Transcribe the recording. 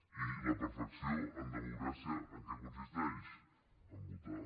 i la perfecció en democràcia en què consisteix a votar